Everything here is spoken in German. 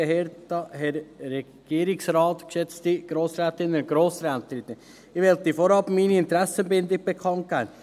Ich möchte zuerst meine Interessenbindung bekannt geben: